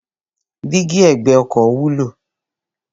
Dígí ẹ̀gbẹ́ ọkọ̀ wúlò.